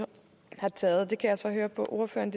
har taget det kan jeg så høre på ordføreren